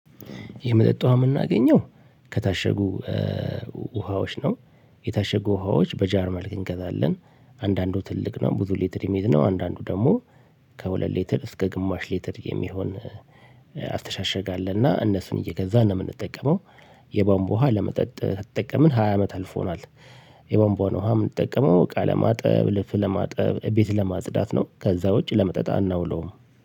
የመጠጥ ውሃ የምናገኘው ከታሸጉ ውሃዎች ነው። የታሸጉ ውሃዎች በጃር መልክ እንገዛለን አንዳንዱ ትልቅ ነው ብዙ ሌትር የሚሄድ ነው። አንዳንዱ ደግሞ ከሁለት ሌትር እስከ ግማሽ ሌትር የሚሆን አስተሻሽግ አለና እነሱን እየገዛን ነው የምንጠቀመው። የቧንቦ ውሃ ለመጠጥ ከተጠቀምን ሃያ አመት አልፎናል። የቧንቧን ውሃ የምንጠቀመው እቃ ለማጠብ ልብስ ለማጠብ ቤት ለማጽዳት ነው ከዛ ውጪ ለመጠጣት አናውለውም